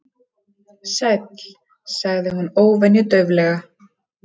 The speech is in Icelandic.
Sæll- sagði hún óvenju dauflega.